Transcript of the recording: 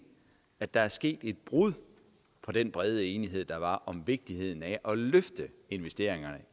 at der er sket et brud på den brede enighed der var om vigtigheden af at løfte investeringerne